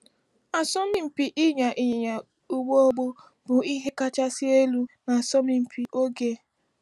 Asọmpi ịnya ịnyịnya ụgbọ ọgbọ bụ ihe kachasị elu n’asọmpi oge ochie.